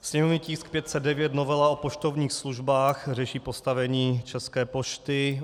Sněmovní tisk 509, novela o poštovních službách, řeší postavení České pošty.